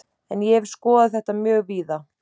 En ég hef skoðað þetta mjög víða.